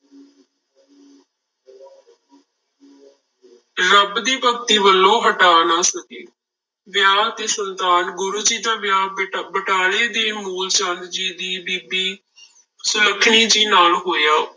ਰੱਬ ਦੀ ਭਗਤੀ ਵੱਲੋਂ ਹਟਾ ਨਾ ਸਕੇ, ਵਿਆਹ ਤੇ ਸੰਤਾਨ, ਗੁਰੂ ਜੀ ਦਾ ਵਿਆਹ ਬਟ~ ਬਟਾਲੇ ਦੇ ਮੂਲ ਚੰਦ ਜੀ ਦੀ ਬੀਬੀ ਸੁਲੱਖਣੀ ਜੀ ਨਾਲ ਹੋਇਆ।